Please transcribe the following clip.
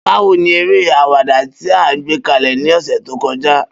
Bawo ni ere awada ti a gbekalẹ ni ọsẹ to kọja?